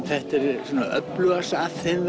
þetta er öflugast af þeim